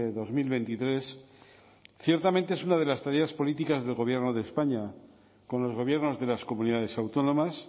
dos mil veintitrés ciertamente es una de las tareas políticas del gobierno de españa con los gobiernos de las comunidades autónomas